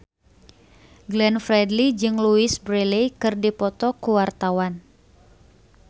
Glenn Fredly jeung Louise Brealey keur dipoto ku wartawan